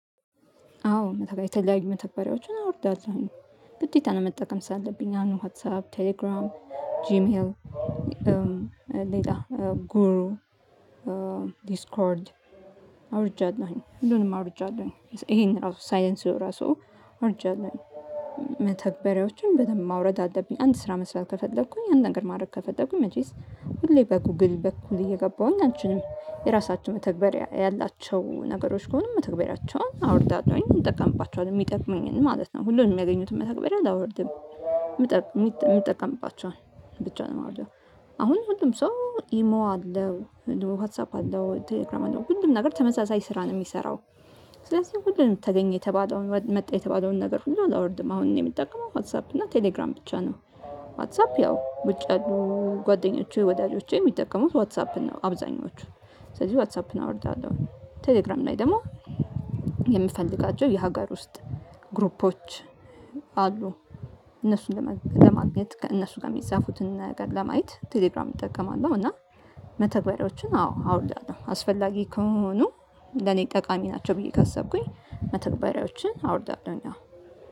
አዎ የተለያዩ መተባሪያዎችን አውርዳለሁ። ግዴታ መጠቀም ስላለብኝ ዋትሳፕ ቴሌግራም ጂሜይል ጎግል ዲስኮርድ አውርጃለሁኝ። ሁሉንም አውርጃለሁኝ ይሄን ራሱ ሳይለንስኦ ራሱ አዉርጃለሁኝ። መተግበሪያዎችን በደንብ ማውረድ አለብኝ። አንድ ስራ መስራት ከፈለኩኝ አንድ ነገር ማድረግ ከፈለኩኝ መቼስ ሁሌ በጎግል በኩል እየገባሁኝ አልችልም። የራሳችሁ መተግበር ያላቸው ነገሮች ከሆኑ መተግበሪያቸውን አወርዳለሁኝ እጠቀምባቸዋለሁ የሚጠቅመኝን ማለት ነው። ሁሉንም ያገኙት መተግበሪያ አላውርድም የሚጠቀምባቸውን ብቻ ነው የማደርገው። አሁን ሁሉም ሰው ኢሞ አለው ዋትሳፕ አለው ቴሌግራም አለው ሁሉም ነገር ተመሳሳይ ስራ ነው የሚሰራው። ስለዚህ ሁሉንም ተገኘ የተባለውን መጣ የተባለውን ነገር ብዙ አላወርድም። አሁን እኔ የምጠቀመው ዋትሳፕ እና ቴሌግራም ብቻ ነው። ዋትሳፕ ያው ውጭ ያሉ ጓደኞቼ ወዳጆቼ የሚጠቀሙት ዋትሳፕን ነው አብዛኞቹ ስለዚህ ዋትሳፕን አወርዳለሁ። ቴሌግራም ላይ ደግሞ የምፈልጋቸው የሀገር ውስጥ ግሩፖች አሉ እነሱን ለማግኘት ከእነሱ ጋር የሚፃፉትን ነገር ለማየት ቴሌግራም እጠቀማለሁ። እና መተግበሪያዎችን አዎ አውርዳለሁ አስፈላጊ ከሆኑ ለኔ ጠቃሚ ናቸው ብዬ ካሰብኩኝ መተግበሪያዎችን አወርዳለሁኝ። አሁን